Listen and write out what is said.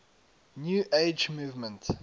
new age movement